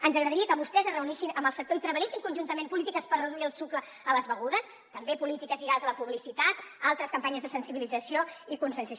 ens agradaria que vostès es reunissin amb el sector i treballessin conjuntament polítiques per reduir el sucre a les begudes també polítiques lligades a la publicitat altres campanyes de sensibilització i conscienciació